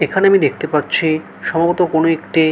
এখানে আমি দেখতে পাচ্ছি সম্ভবত কোনো একটি--